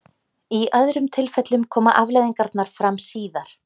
Í öðrum tilfellum koma afleiðingarnar fram síðar.